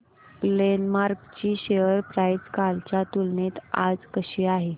Glenmark ची share price कालच्या तुलनेत आज कशी आहे